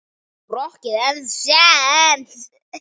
Á rokkið ennþá séns?